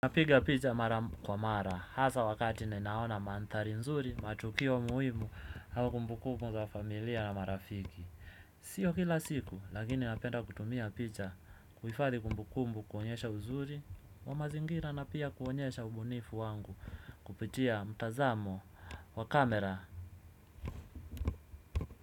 Napiga picha mara kwa mara, hasa wakati ninaona mandhari nzuri, matukio muhimu, au kumbukumbu za familia na marafiki. Siyo kila siku, lakini napenda kutumia picha, kuhifadhi kumbukumbu kuonyesha uzuri, wa mazingira na pia kuonyesha ubunifu wangu, kupitia mtazamo wa kamera.